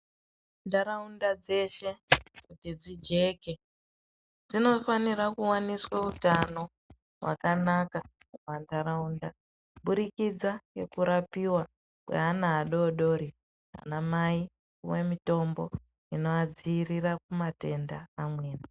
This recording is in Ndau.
Mundaraunda dzeshe kuti dzijeke dzinofanira kuwaniswa utano hwakanaka mundaraunda kuburikidza ngekurapiwa kwevana vadodoori vana mai kupuwe mitombo inovadzivirira kumatenda amweni.